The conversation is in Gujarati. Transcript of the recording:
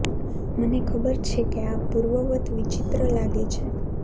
મને ખબર છે કે આ પૂર્વવત્ વિચિત્ર લાગે છે